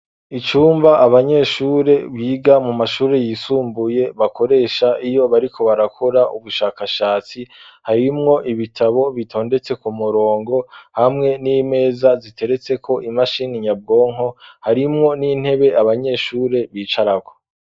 Icumba, abanyeshure, biga mu mashure yisumbuye, bakoresha, iyo bariko barakora, ubushakashatsi; harimwo ibitabo, bitondetse ku murongo, hamwe n'imeza, ziteretseko imashini nyabwonko; harimwo n'intebe, abanyeshure bicarako.